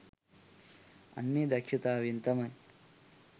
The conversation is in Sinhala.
අන්න ඒ දක්ෂතාවයෙන් තමයි